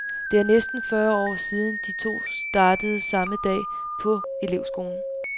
Det er næsten fyrre år siden de to startede samme dag på elevskolen.